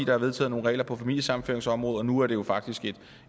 der vedtog nogle regler på familiesammenføringsområdet og nu er det jo faktisk